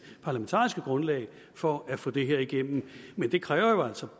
parlamentariske grundlag for at få det igennem det kræver altså